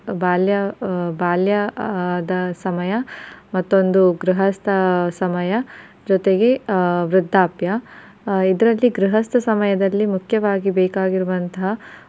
ಬಾಲ್ಯ ಆ ಬಾಲ್ಯದ ಸಮಯ ಮತ್ತೊಂದು ಗೃಹಸ್ತ ಸಮಯ ಜೊತೆಗೆ ವೃದ್ಧಾಪ್ಯ ಇದರಲ್ಲಿ ಆ ಗೃಹಸ್ತ ಸಮಯದಲ್ಲಿ ಮುಖ್ಯವಾಗಿ ಬೇಕಾಗಿರುವಂತಹ